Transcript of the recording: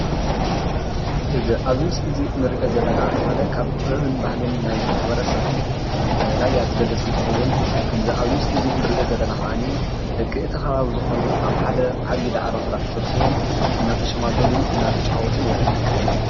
እዚ ኣብዚ ምስሊ ንርኦ ዘለና ሓደ ካብ ጥበብን ባህልን ናይ ማህበረሰብ ራያ ዝገልፅ እንትከውን ከምዚ ኣብዚ ምስሊ ንርኦ ዘለና ከዓኒ ድማ ደቂ እቲ ከባቢ ዝኾኑ ኣብ ሓደ ዓቢዪ ዳዕሮ ፅላል ተሰብስቦም እንዳተሸማገሉ እንዳተጫወቱን የርኢ።